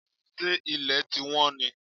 Ṣé ilẹ̀ ti wọ́n ni?